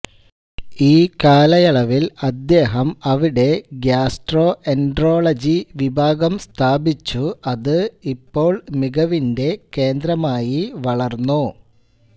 ഈ കാലയളവിൽ അദ്ദേഹം അവിടെ ഗ്യാസ്ട്രോഎൻട്രോളജി വിഭാഗം സ്ഥാപിച്ചു അത് ഇപ്പോൾ മികവിന്റെ കേന്ദ്രമായി വളർന്നു